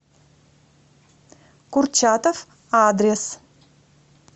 курчатов адрес